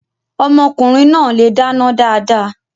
Ọmọkùnrin náà le dáná dáadáa.